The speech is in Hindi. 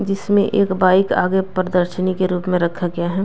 जिसमें एक बाइक आगे प्रदर्शनी के रूप में रखा गया है।